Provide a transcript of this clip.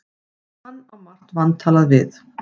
Hann á margt vantalað við